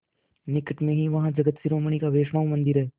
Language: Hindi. निकट में ही वहाँ जगत शिरोमणि का वैष्णव मंदिर है